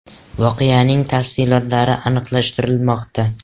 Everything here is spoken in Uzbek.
Voqeaning tafsilotlari aniqlashtirilmoqda.